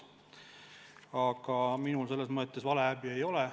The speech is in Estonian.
Aga minul selle tõttu häbi ei ole.